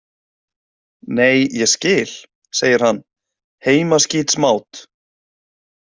Nei, ég skil, segir hann, heimaskítsmát.